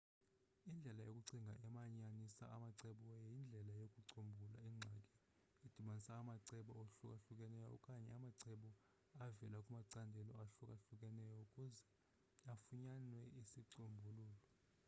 indlela yokucinga emanyanisa amacebo yindlelo yokucombulula ingxaki edibanisa amacebo ahlukahlukeneyo okanye amacebo avela kumacandelo ahlukahlukeneyo ukuze kufunyanwe isicombululo